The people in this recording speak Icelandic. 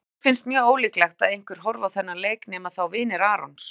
Mér finnst mjög ólíklegt að einhver horfi á þennan leik nema þá vinir Arons.